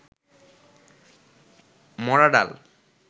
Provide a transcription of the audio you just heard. মরা ডাল